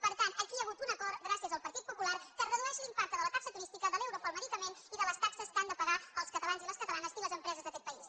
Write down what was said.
per tant aquí hi ha hagut un acord gràcies al partit popular que redueix l’impacte de la taxa turística de l’euro pel medicament i de les taxes que han de pagar els catalans i les catalanes i les empreses d’aquest país